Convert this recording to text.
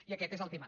i aquest és el tema